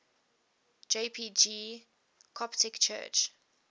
jpg coptic church